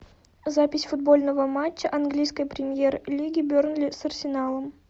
запись футбольного матча английской премьер лиги бернли с арсеналом